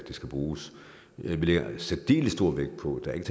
det skal bruges vi lægger særdeles stor vægt på at der ikke